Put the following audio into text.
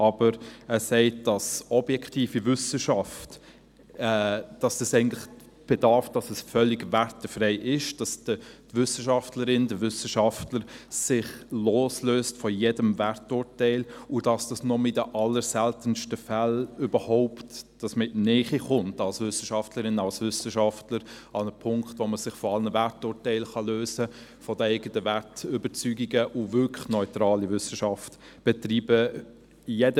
Aber er sagt, die objektive Wissenschaft bedürfe, um völlig wertfrei zu sein, dass die Wissenschaftlerin, der Wissenschaftler sich von jedem Werturteil loslöse und dass man als Wissenschaftlerin, als Wissenschaftler nur in den allerseltensten Fällen überhaupt in die Nähe eines Punktes kommt, wo man sich von allen Werturteilen und den eigenen Wertüberzeugungen lösen und wirklich neutrale Wissenschaft betreiben kann.